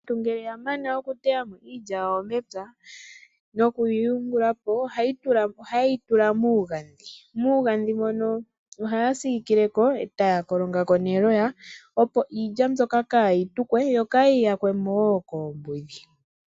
Aantu ngele yamana okutayapo iilya yawo mepya nokoyi yungulapo ohaye yitula muugadhi mugadhi mono ohaya siikileko ee taya kolongako neloya opo iilya mbyoka kaayi tukwe yo kaayiyakwemo woo koombudhi.